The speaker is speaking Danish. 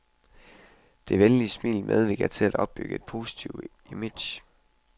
Det venlige smil medvirker til at opbygge et positivt image.